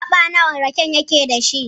Gaɓa nawa raken yake da shi.